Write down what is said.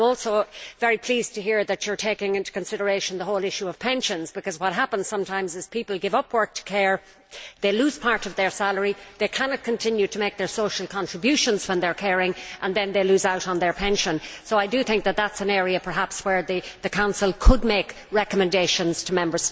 I am also very pleased to hear that you are taking into consideration the whole issue of pensions, because what happens sometimes is that people give up work to care, they lose part of their salary, they cannot continue to make their social contributions when they are caring, and then they lose out on their pension, so I do think that is an area perhaps where the Council could make recommendations to Member States.